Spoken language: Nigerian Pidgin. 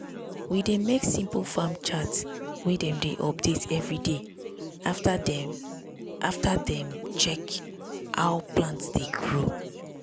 we dey make simple farm chart wey dem dey update every day after dem after dem check how plant dey grow.